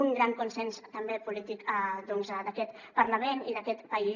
un gran consens també polític doncs d’aquest parlament i d’aquest país